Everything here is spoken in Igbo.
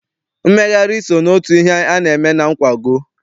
Mmegharị so n'otu ihe a na-eme na nkwago.